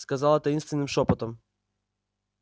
сказала таинственным шёпотом